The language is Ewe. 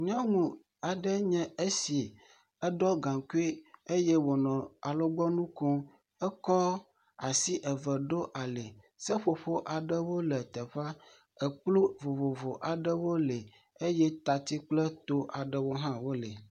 Nyɔnu aɖe nye esi eɖɔ gaŋkui eye wonɔ alɔgbɔnu kom. Ekɔ asi eve ɖo ali seƒoƒo aɖewo le teƒea. Ekplɔ vovvovo aɖewo li eye tatsi kple to aɖewo hã wo li.